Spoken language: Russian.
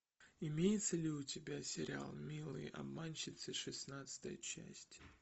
имеется ли у тебя сериал милые обманщицы шестнадцатая часть